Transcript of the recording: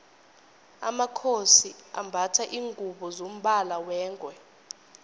amakhosi ambatha lingubo zombala wengwe